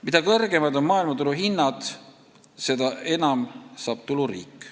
Mida kõrgemad on maailmaturu hinnad, seda enam saab tulu riik.